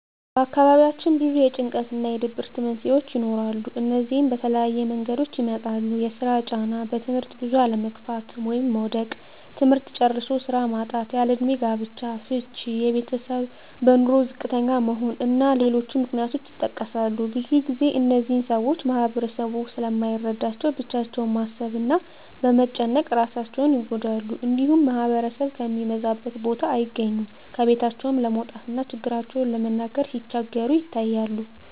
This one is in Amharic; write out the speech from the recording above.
በአካባቢያችን ብዙ የጭንቀት እና የድብርት መንስሄዎች ይኖራሉ። እነዚህም በተለያየ መንገዶች ይመጣሉ የስራ ጫና; በትምህርት ብዙ አለመግፋት (መዉደቅ); ትምህርት ጨርሶ ስራ ማጣት; ያለእድሜ ጋብቻ; ፍች እና የቤተሰብ በኑሮ ዝቅተኛ መሆን እና ሌሎችም ምክንያቶች ይጠቀሳሉ። ብዙ ግዜ እነዚህን ሰወች ማህበረሰቡ ስለማይረዳቸው ብቻቸውን በማሰብ እና በመጨነቅ እራሳቸውን ይጎዳሉ። እንዲሁም ማህበረሰብ ከሚበዛበት ቦታ አይገኙም። ከቤታቸውም ለመውጣት እና ችግራቸውን ለመናገር ሲቸገሩ ይታያሉ።